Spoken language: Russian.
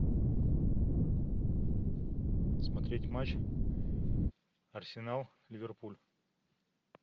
смотреть матч арсенал ливерпуль